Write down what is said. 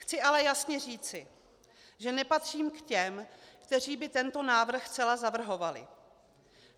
Chci ale jasně říci, že nepatřím k těm, kteří by tento návrh zcela zavrhovali.